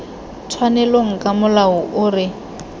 tshwanelong ka molao o re